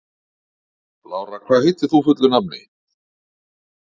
Lára, hvað heitir þú fullu nafni?